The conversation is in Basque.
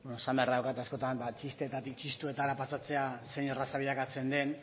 esan beharra daukat askotan ba txistetarik txistuetara pasatzea zein erraza bilakatzen den